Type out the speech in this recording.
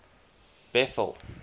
bethal